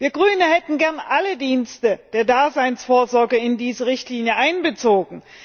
Wir als Grüne hätten gerne alle Dienste der Daseinsvorsorge in diese Richtlinie einbezogen.